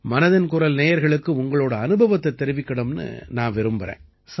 மனதின் குரல் நேயர்களுக்கு உங்களோட அனுபவத்தைத் தெரிவிக்கணும்னு நான் விரும்பறேன்